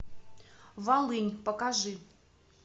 волынь покажи